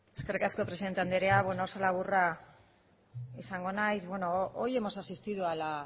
eskerrik asko presidente anderea oso laburra izango naiz hoy hemos asistido a la